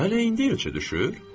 Hələ indi elçə düşür?